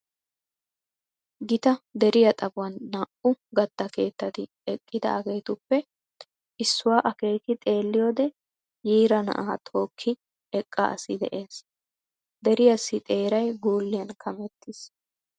Gita deriya xaphuwan naa"u gatta keettati eqqidaageetuppe issuwa akeeki xeelliyoode yiira na"aa tookki eqqa asi de"es. Deriyassi xeeray guuliyan kamettiis.